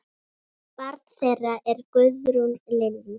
Barn þeirra er Guðrún Lillý.